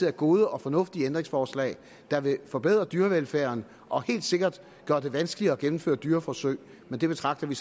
er gode og fornuftige ændringsforslag der vil forbedre dyrevelfærden og helt sikkert gøre det vanskeligere at gennemføre dyreforsøg men det betragter vi